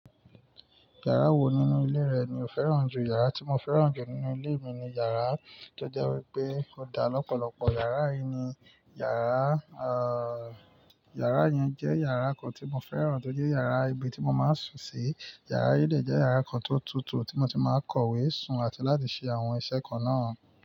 Yàrá wo nínú ilé rẹ ni o fẹ́ràn jù? Yàrá tí mo fẹ́ràn jù nínú ilé mi ni yàrá tó jẹ́ wípé ó dá lọ́pọ̀lọpọ̀. Yàrá yìí ni yàrá, à, yàrá yẹn jẹ́ yàrá kan tí mo fẹ́ràn torí yàrá ibi tí mo máa ń sùn sí. Yàrá yìí lè jẹ́ yàrá kan tó tutù tí mo ti máa ń kọ̀wé, sùn àti láti ṣe àwọn iṣẹ́ kan náà.